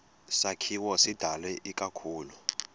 sakhiwo sidalwe ikakhulu